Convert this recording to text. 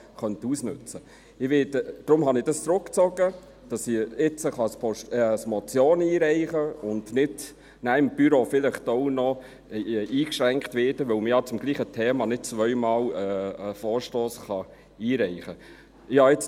Deshalb habe ich es zurückgezogen, damit ich es jetzt als Motion einreichen kann und nicht danach im Büro vielleicht auch noch eingeschränkt werde, weil man ja zum selben Thema nicht zweimal einen Vorstoss einreichen kann.